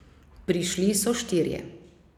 Prišli so štirje.